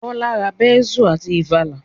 Bọ́lá ra bẹ́nsù àti ìfàlà